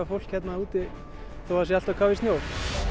fólk hérna þó það sé allt á kafi í snjó